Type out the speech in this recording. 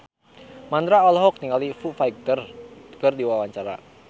Mandra olohok ningali Foo Fighter keur diwawancara